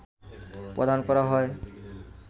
প্রদান করা হয়